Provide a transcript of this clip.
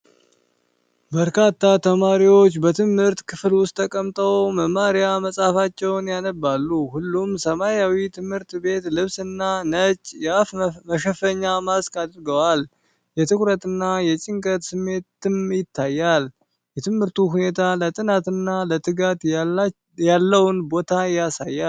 በርካታ ተማሪዎች በትምህርት ክፍል ውስጥ ተቀምጠው መማሪያ መጽሐፋቸውን ያነባሉ። ሁሉም ሰማያዊ ትምህርት ቤት ልብስና ነጭ የአፍ መሸፈኛ (ማስክ) አድርገዋል፤ የትኩረትና የጭንቀት ስሜትም ይታያል። የትምህርቱ ሁኔታ ለጥናትና ለትጋት ያለውን ቦታ ያሳያል።